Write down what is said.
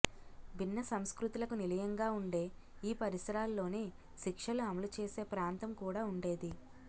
భిన్న సంస్కృతులకు నిలయంగా ఉండే ఈ పరిసరాల్లోనే శిక్షలు అమలు చేసే ప్రాంతం కూడా ఉండేది